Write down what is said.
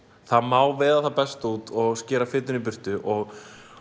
það má veiða það besta út og skera fituna í burtu og